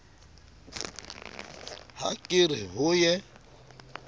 ha ke re ho ye